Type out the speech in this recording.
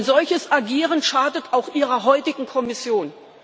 Ein solches Agieren schadet auch Ihrer heutigen Kommission.